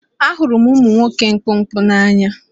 Ahụrụ m ụmụ nwoke mkpụmkpụ n'anya